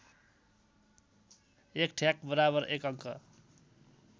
१ ठ्याक बराबर १ अङ्क